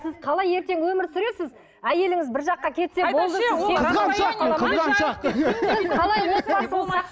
сіз қалай ертең өмір сүресіз әйеліңіз бір жаққа кетсе болды